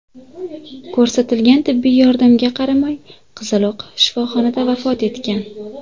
Ko‘rsatilgan tibbiy yordamga qaramay, qizaloq shifoxonada vafot etgan.